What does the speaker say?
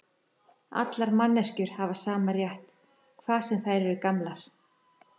Allar manneskjur hafa sama rétt, hvað sem þær eru gamlar.